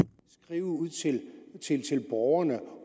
skrive ud til borgerne